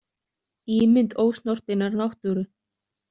Ímynd ósnortinnar náttúru.